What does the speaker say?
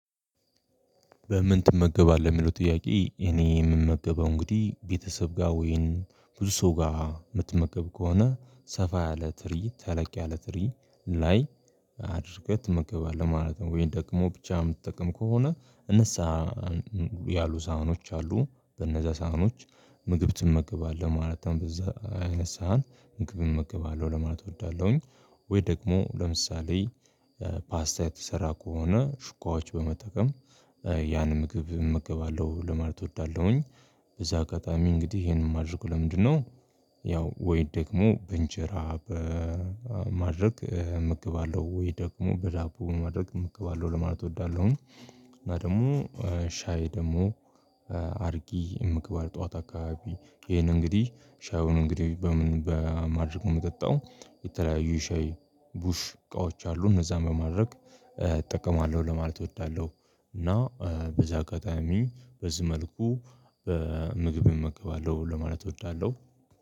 በምን ትመገባለህ የሚለው ጥያቄ እኔ የምመገበው እንግዲህ ቤተሰብ ጋር ወይን ብዙ ሰው ጋር የምትመከብ ከሆነ ሰፋ ያለ ትርኢት ተለቅ ያለ ትርኢት ላይ አድርገህ ትመገባለህ ማለት ነው? ወይ ደግሞ ብቻ የምትጠቅም ከሆነ ንስሃ ያሉ ሳህኖች አሉ በነዛ ሳህኖች ምግብ ትመገባለህ ማለትም በዛ አይነት ሳህን ምግብ እመገባለሁ ለማለት እወዳለሁኝ። ወይ ደግሞ ለምሳሌ ፓስታ የተሰራ ከሆነ ሹኳዎች በመጠቀም ያን ምግብ እመገባለሁ ለማለት እወዳለሁኝ። በዛ አጋጣሚ እንግዲህ ይሄንን ማድረግ ለምንድነው? ያው ወይ ደግሞ በእንጀራ በማድረግ ምግብ አለው ወይ ደግሞ በዳቦ ማድረግ የምትከባለው ለማለት እወዳለሁኝ። እና ደግሞ ሻይ ደግሞ አርጊ የምግባል ጠዋት አካባቢ ይሄን እንግዲህ ሻዩን እንግዲህ በምን በማድረግ የምጠጣው የተለያዩ ሻይ ቡሽዙእቃዎች አሉ እነዛን በማድረግ እጠቀማለሁ ለማለት እወዳለሁ። እና በዚህ አጋጣሚ በዚህ መልኩ ምግብ እመገባለሁ ለማለት እወዳለሁ።